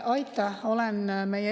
Aitäh!